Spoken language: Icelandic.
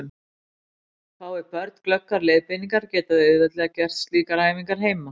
Fái börn glöggar leiðbeiningar geta þau auðveldlega gert slíkar æfingar heima.